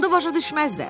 Onda başa düşməzlər.